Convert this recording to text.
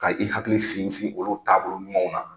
Ka i hakili finfin olu taabolo ɲumanw na